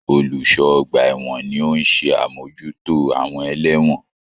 Olùṣọ́ ọgbà ẹ̀wọ̀n ni ó ń ṣe àmójútó àwọn ẹlẹ́wọ̀n.